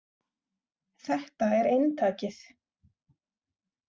﻿Þetta er eintakið.